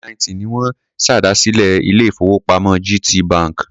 Ọdún 1990 ni wọ́n ṣèdásílẹl ilé-ìfowópamọ́ GTB.